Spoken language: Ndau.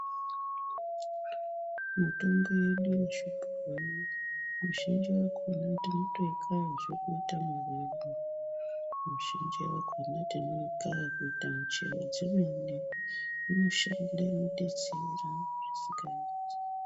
Mitombo yedu yechigare mizhinji yakona tinotoikaya zve kuita muriwo, mizhinji yakona tinoikaya kuite michero dzemene, inoshanda inodetsera zvisingaiti.